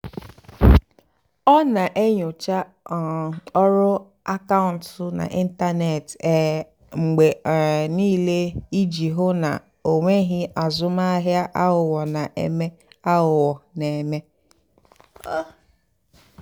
ọ́ nà-ènyócha um ọ́rụ́ àkàụ́ntụ́ n'ị́ntánètị́ um mgbe um níìlé ìjì hụ́ ná ọ́ nwèghị́ àzụ́mahìá àghụ́ghọ́ nà-èmè. àghụ́ghọ́ nà-èmè.